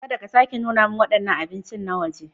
Kada ka sake nuna min waɗannan abinci na waje.